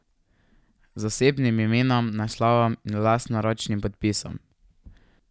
Z osebnim imenom, naslovom in lastnoročnim podpisom.